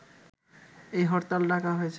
এই হরতাল ডাকা হয়েছে